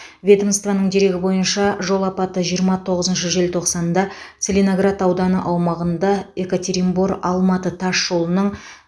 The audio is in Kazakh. ведомствоның дерегі бойынша жол апаты жиырма тоғызыншы желтоқсанда целиноград ауданы аумағында екатеринбор алматы тас жолының